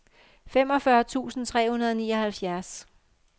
femogfyrre tusind tre hundrede og nioghalvfjerds